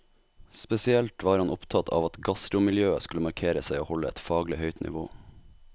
Spesielt var han opptatt av at gastromiljøet skulle markere seg og holde et faglig høyt nivå.